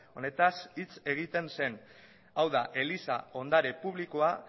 honetaz hitz egiten zen hau da eliza ondare publikoa